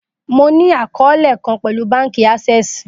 Mo ni akọọlẹ kan pẹlu banki access